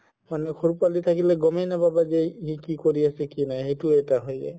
সৰু পোৱালি থাকিলে গ'মে নাপাব যে সি কি কৰি আছে কি নাই সেইটো এটা হয় যাই